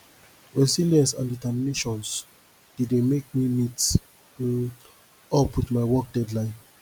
resilience and determinations dey dey make me meet um up with my work deadline